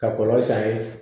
Ka kɔlɔ san